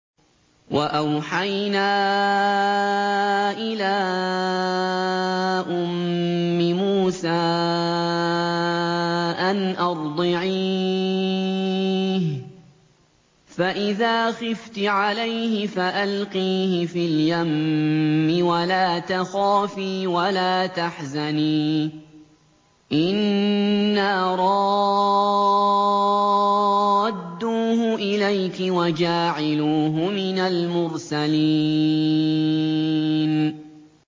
وَأَوْحَيْنَا إِلَىٰ أُمِّ مُوسَىٰ أَنْ أَرْضِعِيهِ ۖ فَإِذَا خِفْتِ عَلَيْهِ فَأَلْقِيهِ فِي الْيَمِّ وَلَا تَخَافِي وَلَا تَحْزَنِي ۖ إِنَّا رَادُّوهُ إِلَيْكِ وَجَاعِلُوهُ مِنَ الْمُرْسَلِينَ